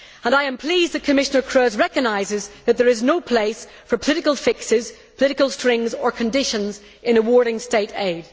And I am pleased that Commissioner Kroes recognises that there is no place for political fixes, political strings or conditions in awarding State aid.